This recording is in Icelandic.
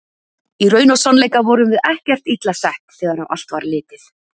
Í raun og sannleika vorum við ekkert illa sett þegar á allt var litið.